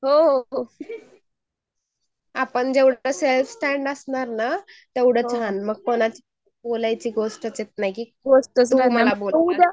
हो हो ,अपण जेवढं सेल्फ स्टेन्ड असणार ना असलं ना तेवढं छान . मग कुणाची बोलायची गोष्टच येत नाही .